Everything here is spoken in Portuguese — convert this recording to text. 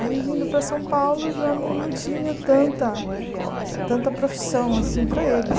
Aí, vindo para São Paulo, já não não tinha tanta tanta profissão assim para eles.